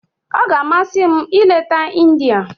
Ọ ga-amasị m ileta India.